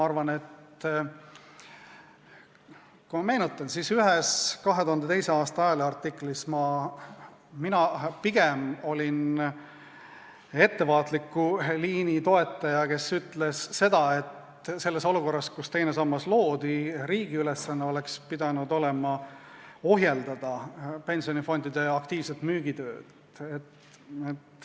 Ma mäletan, et ühes 2002. aasta ajaleheartiklis olin mina pigem ettevaatliku liini toetaja, kes ütles seda, et selles olukorras, kus teine sammas loodi, oleks riigi ülesanne pidanud olema ohjeldada pensionifondide aktiivset müüki.